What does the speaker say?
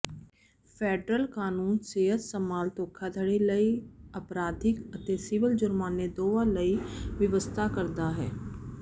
federal ਕਾਨੂੰਨ ਸਿਹਤ ਸੰਭਾਲ ਧੋਖਾਧੜੀ ਲਈ ਅਪਰਾਧਿਕ ਅਤੇ ਸਿਵਲ ਜ਼ੁਰਮਾਨੇ ਦੋਵਾਂ ਲਈ ਵਿਵਸਥਾ ਕਰਦਾ ਹੈ